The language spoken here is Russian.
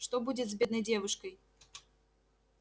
что будет с бедной девушкой